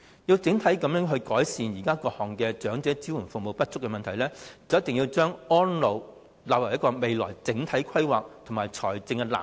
若想整體改善現時各項長者支援服務不足的問題，政府必須把安老服務納入未來整體規劃及財政藍圖。